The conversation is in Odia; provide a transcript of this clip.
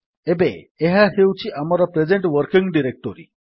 ଏବେ ଏହା ହେଉଛି ଆମର ପ୍ରେଜେଣ୍ଟ୍ ୱର୍କିଂ ଡିରେକ୍ଟୋରୀ